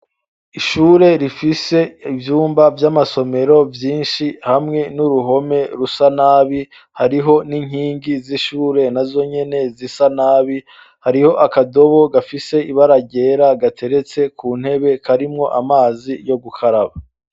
Ishure rifise ivyumba vy'amasomero vyinshi hamwe n'uruhome rusa nabi, hariho n'inkingi z'ishure nazonyene zisa nabi, hariho akadobo gafise ibara ryera gateretse ku ntebe karimwo amazi yo gukaraba.